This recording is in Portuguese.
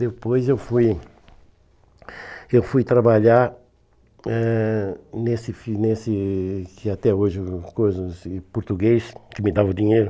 Depois eu fui eu fui trabalhar eh nesse nesse, que até hoje eu coiso, esse português, que me dava o dinheiro.